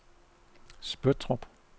Spøttrup